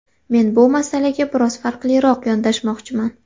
Men bu masalaga biroz farqliroq yondashmoqchiman.